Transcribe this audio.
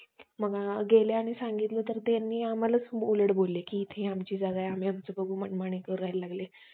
पण काही ठिकाणी आजकाल ते बोकाळलं जातं. काहीच्या काही खूप घाण प्रकार करतात.